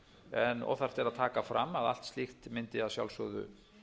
en óþarft er að taka fram að allt slíkt mundi að sjálfsögðu